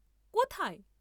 কোথায়?